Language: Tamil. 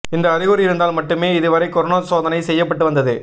இந்த அறிகுறி இருந்தால் மட்டுமே இதுவரை கொரோனா சோதனை செய்யப்பட்டு வந்தது